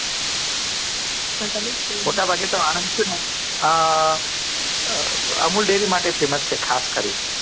મોટાભાગે તો આનંદ છે ને amul dairy માટે famous છે ખાસકરી ને